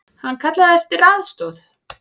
Hann kallaði eftir aðstoð.